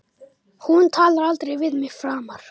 Hún talar aldrei við mig framar